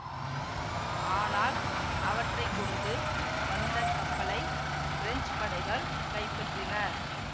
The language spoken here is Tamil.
ஆனால் அவற்றை கொண்டு வந்த கப்பலை பிரெஞ்சு படைகள் கைப்பற்றின